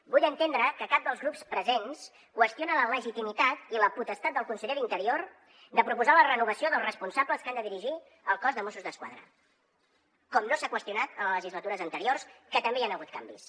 vull entendre que cap dels grups presents qüestiona la legitimitat i la potestat del conseller d’interior de proposar la renovació dels responsables que han de dirigir el cos de mossos d’esquadra com no s’ha qüestionat en legislatures anteriors que també hi han hagut canvis